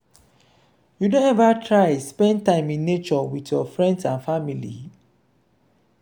you don ever try spend time in nature with your friends and family?